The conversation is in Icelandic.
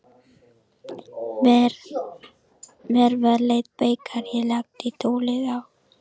Mér var létt þegar ég lagði tólið á.